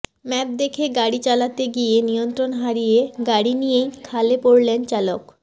map দেখে গাড়ি চালাতে গিয়ে নিয়ন্ত্রণ হারিয়ে গাড়ি নিয়েই খালে পড়লেন চালক